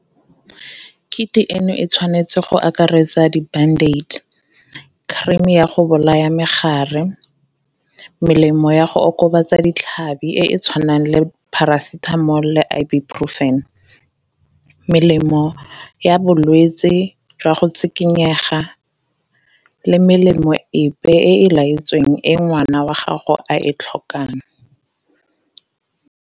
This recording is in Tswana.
Kit-i eno e tshwanetse go akaretsa di-bandage, cream ya go bolaya megare, melemo ya go okobatsa ditlhabi e e tshwanang le Paracetamol le Ibuprofen, melemo ya bolwetsi jwa go tshikinyega le melemo epe e laetsweng e ngwana wa gago a e tlhokang.